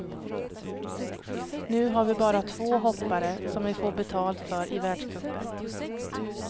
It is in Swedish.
Nu har vi bara två hoppare som vi får betalt för i världscupen.